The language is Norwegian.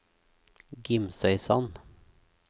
Gimsøysand